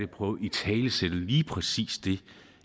prøve at italesætte lige præcis det